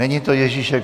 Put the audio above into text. Není to Ježíšek.